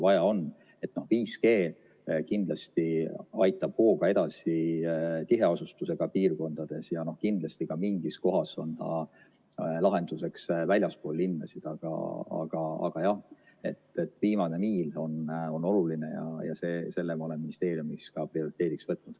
5G kindlasti aitab hooga edasi tiheasustusega piirkondades ja kindlasti ka mingis kohas on see lahenduseks väljaspool linnasid, aga jah, viimane miil on oluline ja selle ma olen ministeeriumis ka prioriteediks võtnud.